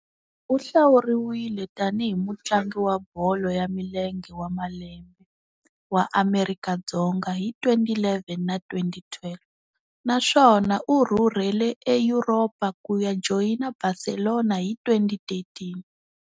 U hlawuriwile tani hi Mutlangi wa Bolo ya Milenge wa Lembe wa Amerika Dzonga hi 2011 na 2012, naswona u rhurhele eYuropa ku ya joyina Barcelona hi 2013.